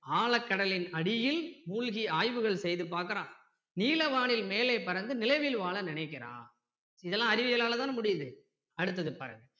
ஆழக் கடலின் அடியில் மூழ்கி ஆய்வுகள் செய்து பாக்குறான் நீல வானில் மேலே பறந்து நிலவில் வாழ நினைக்கிறான் இதெல்லாம் அறிவியலாள தான முடியுது அடுத்தது பாருங்க